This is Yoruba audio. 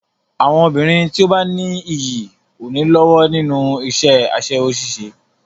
Àwọn obìnrin tí ó bá ní iyì ò ní lọ́wọ́ nínú iṣẹ́ aṣẹ́wó ṣíṣe.